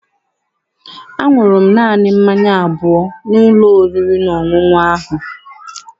Aṅụrụ m naanị mmanya abụọ n'ụlọ oriri na ọṅụṅụ ahụ.